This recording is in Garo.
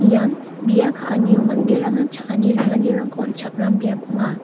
ian bia ka·anio manderangna cha·ani ringanirangko on·chakram biap ong·a.